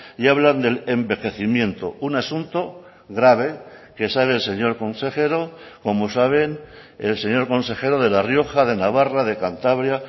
y hablan del envejecimiento un asunto grave que sabe el señor consejero como saben el señor consejero de la rioja de navarra de cantabria